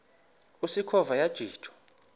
usikhova yathinjw a